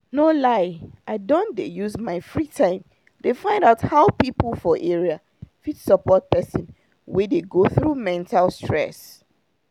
no lie i don dey use my free time dey find out how people for area fit support person wey dey go through mental stress.